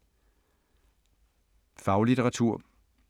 Faglitteratur